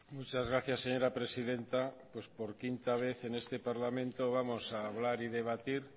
muchas gracias señora presidenta pues por quinta vez en este parlamento vamos a hablar y debatir